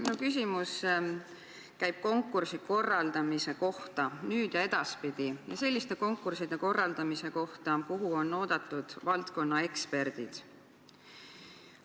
Minu küsimus käib konkursi korraldamise kohta nüüd ja edaspidi, selliste konkursside korraldamise kohta, kuhu on oodatud valdkonna eksperdid.